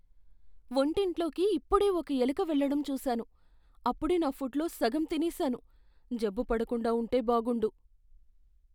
వంటింట్లోకి ఇప్పుడే ఒక ఎలుక వెళ్ళడం చూసాను. అప్పుడే నా ఫుడ్ లో సగం తినేసాను. జబ్బు పడకుండా ఉంటే బాగుండు.